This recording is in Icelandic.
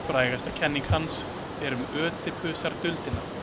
Frægasta kenning hans er um Ödipusarduldina.